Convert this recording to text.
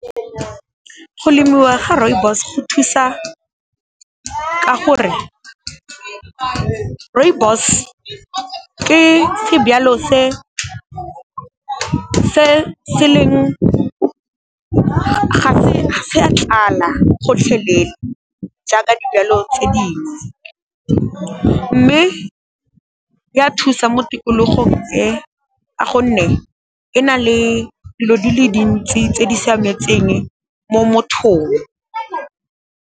Go lemiwa ga rooibos go thusa ka gore, rooibos ke sejalo ga se a tlala gotlhelele jaaka dijalo tse dingwe, mme ya thusa mo tikologong e ka gonne, e na le dilo tsw dintsi tse di siametseng mo mothong.